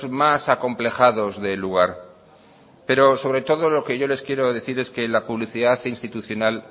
más acomplejados del lugar pero sobre todo lo que yo les quiero decir es que la publicidad institucional